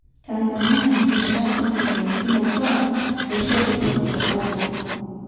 Tanzania:Nkishirat osingoliotin okuak loishodupoto Wagogo.